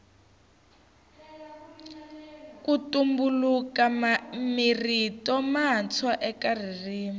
ku tumbuluka mirito matswa eka ririmi